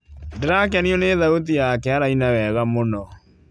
Ndĩrakenio nĩ thauti yake araina wega mũno,